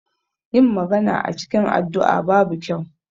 Yin magana a cikin addu'a babu kyau.